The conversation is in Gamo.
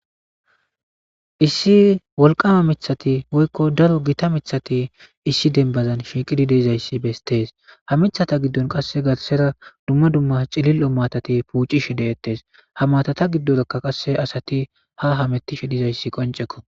Issi wolqama mithati woykko daro gita mithati issi denbazan shiiqidi deizayssi bestees ha mithata giddon qasse garsera dumma dumma cilil omatati puucishi deettes ha matata giddorakka qasse asati ha hamettishe dizayssi qonceko.